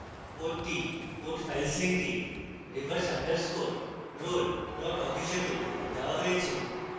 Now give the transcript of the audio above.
code code files link reverse _ roll awk হিসাবে দেওয়া হয়েছে